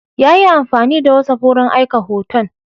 Ya yi amfani da whatsapp wurin aika hoton.